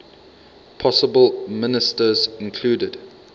possible ministers included